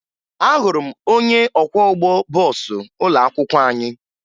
Ahụrụ m onye ọkwọụgbọ bọọsụ ụlọakwụkwọ anyị